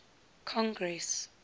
congress